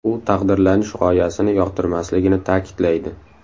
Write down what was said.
U taqdirlanish g‘oyasini yoqtirmasligini ta’kidlaydi.